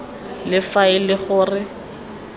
le fa e le gore